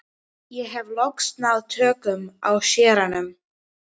Ég hef loks náð tökum á séranum.